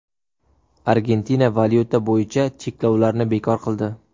Argentina valyuta bo‘yicha cheklovlarni bekor qildi .